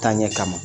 Taaɲɛ kama